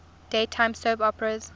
daytime soap operas